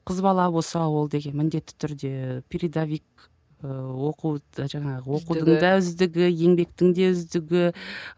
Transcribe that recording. қыз бала болса ол деген міндетті түрде передовик ыыы жаңағы оқудың да үздігі еңбектің де үздігі